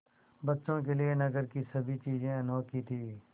बच्चों के लिए नगर की सभी चीज़ें अनोखी थीं